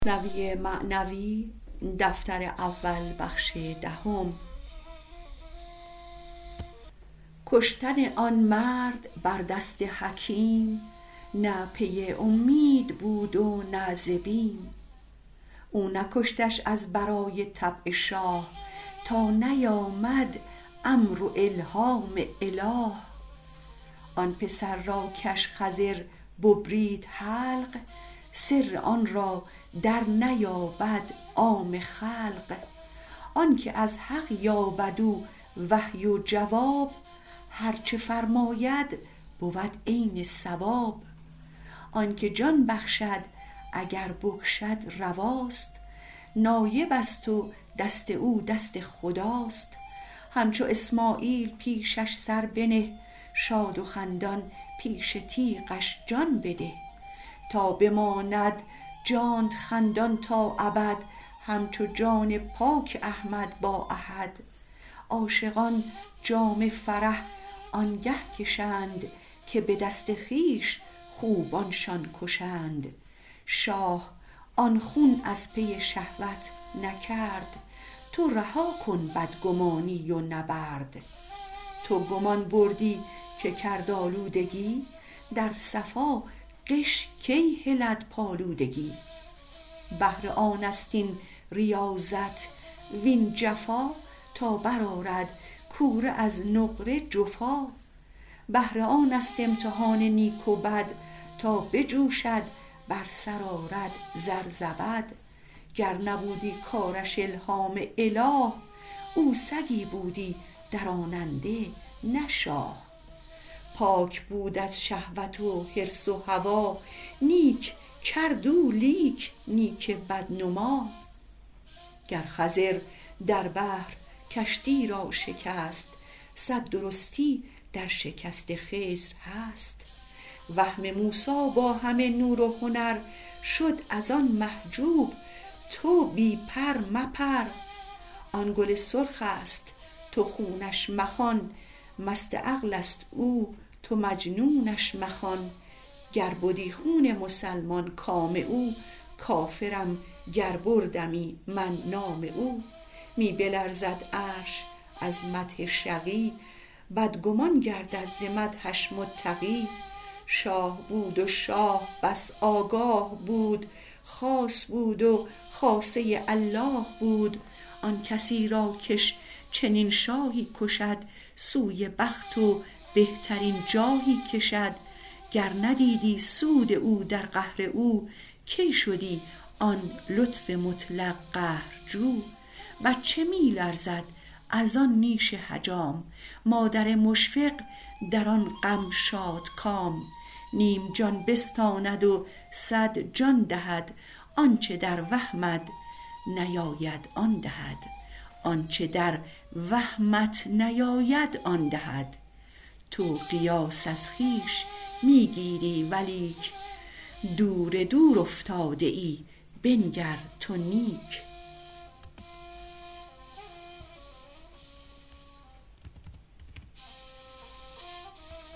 کشتن آن مرد بر دست حکیم نه پی اومید بود و نه ز بیم او نکشتش از برای طبع شاه تا نیامد امر و الهام اله آن پسر را کش خضر ببرید حلق سر آن را در نیابد عام خلق آنک از حق یابد او وحی و جواب هرچه فرماید بود عین صواب آنک جان بخشد اگر بکشد رواست نایبست و دست او دست خداست همچو اسماعیل پیشش سر بنه شاد و خندان پیش تیغش جان بده تا بماند جانت خندان تا ابد همچو جان پاک احمد با احد عاشقان آنگه شراب جان کشند که به دست خویش خوبانشان کشند شاه آن خون از پی شهوت نکرد تو رها کن بدگمانی و نبرد تو گمان بردی که کرد آلودگی در صفا غش کی هلد پالودگی بهر آنست این ریاضت وین جفا تا بر آرد کوره از نقره جفا بهر آنست امتحان نیک و بد تا بجوشد بر سر آرد زر زبد گر نبودی کارش الهام اله او سگی بودی دراننده نه شاه پاک بود از شهوت و حرص و هوا نیک کرد او لیک نیک بد نما گر خضر در بحر کشتی را شکست صد درستی در شکست خضر هست وهم موسی با همه نور و هنر شد از آن محجوب تو بی پر مپر آن گل سرخست تو خونش مخوان مست عقلست او تو مجنونش مخوان گر بدی خون مسلمان کام او کافرم گر بردمی من نام او می بلرزد عرش از مدح شقی بدگمان گردد ز مدحش متقی شاه بود و شاه بس آگاه بود خاص بود و خاصه الله بود آن کسی را کش چنین شاهی کشد سوی بخت و بهترین جاهی کشد گر ندیدی سود او در قهر او کی شدی آن لطف مطلق قهرجو بچه می لرزد از آن نیش حجام مادر مشفق در آن دم شادکام نیم جان بستاند و صد جان دهد آنچ در وهمت نیاید آن دهد تو قیاس از خویش می گیری ولیک دور دور افتاده ای بنگر تو نیک